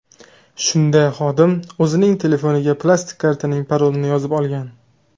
Shunda xodim o‘zining telefoniga plastik kartaning parolini yozib olgan.